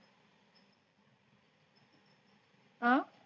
आह.